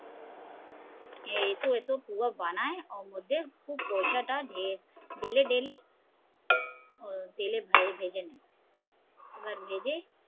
এ এত এত পুয়া বানায় ওর মধ্যে খুব পয়সা টা ঢেলে ঢেলে তেলে ভেজে নেয় এবার ভেজে